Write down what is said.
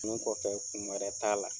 Kun kɔfɛ kun wɛrɛ t'a la.